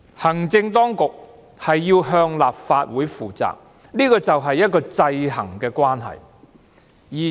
行政當局要向立法會負責，就是這種制衡的關係。